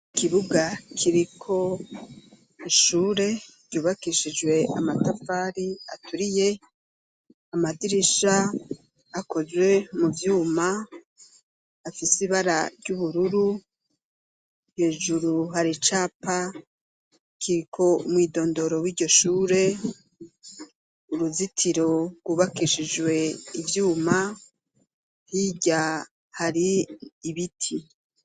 Ikibuga kiriko ishure ryubakishijwe amatafari aturiye, amadirisha akozwe mu vyuma afise ibara ry'ubururu, hejuru hari icapa kiriko umwidondoro w'iryo shure ,uruzitiro rwubakishijwe ivyuma, hirya hari ibiti.